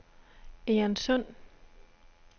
Egernsund